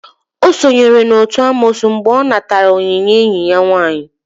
O sonyere n'otu n'amoosu mgbe ọ natara onyinye enyi ya nwaanyị.